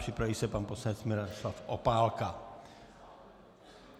Připraví se pan poslanec Miroslav Opálka.